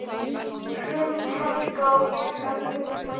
Hrund, Helga og Jenna Huld.